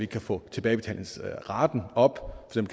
kan få tilbagebetalingsraten op